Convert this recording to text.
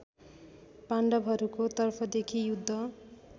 पाण्डवहरूको तर्फदेखि युद्ध